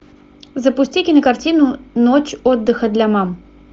запусти кинокартину ночь отдыха для мам